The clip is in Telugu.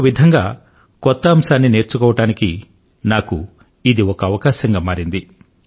ఒక విధంగా కొత్త అంశాన్ని నేర్చుకోవటానికి నాకు ఇది ఒక అవకాశంగా మారింది